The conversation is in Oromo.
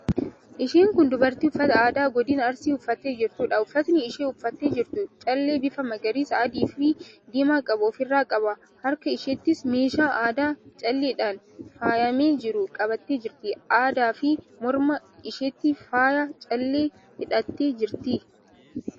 Isheen kun dubartii uffata aadaa godina Arsii uffattee jirtuudha. Uffatni isheen uffattee jirtu callee bifa magariisa, adiifi diimaa qabu ofirraa qaba. Harka isheettis meeshaa aadaa calleedhaan faayamee jiru qabattee jirti. Addaafi morma isheetti faayaa callee hidhattee jirti.